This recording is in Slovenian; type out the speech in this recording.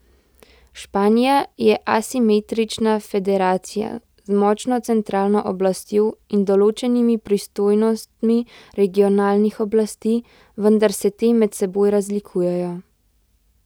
Španija je asimetrična federacija z močno centralno oblastjo in določenimi pristojnostmi regionalnih oblasti, vendar se te med seboj razlikujejo.